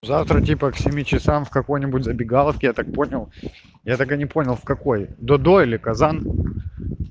завтра типа к семи часам в какой-нибудь забегаловке я так понял я так и не понял в какой до-до или казан